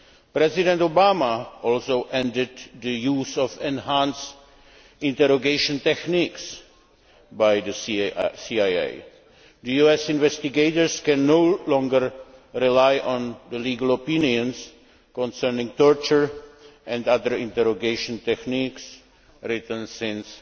President Obama also ended the use of enhanced' interrogation techniques by the CIA. The US investigators can no longer rely on the legal opinions concerning torture and other interrogation techniques written since